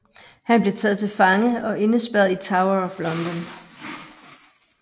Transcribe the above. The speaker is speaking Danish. Han blev taget til fange og indespærret i Tower of London